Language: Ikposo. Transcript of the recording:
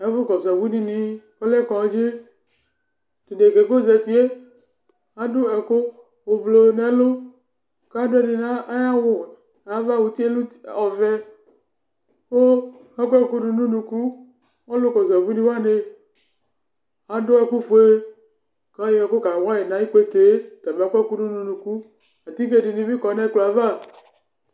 Éƙʋ ƙɔsʋ ɛƙʋ ɖɩnɩ ɔlɛ kɔɖzɩ, tʋ ɖeƙǝ ƴɛ ƙ'ozatie aɖʋ ɛƙʋ ʋblʋ nʋ ɛlʋ kʋ aɖʋ ɔvɛƘʋ ayɔ ɛƙʋ kawaƴɩ nʋ aƴʋ iƙpeteeAtike ɖɩnɩ bɩ ƙɔ nʋ ɛƙplɔava